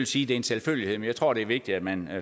sige er en selvfølgelighed men jeg tror det er vigtigt at man